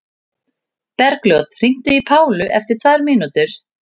Bergljót, hringdu í Pálu eftir tvær mínútur.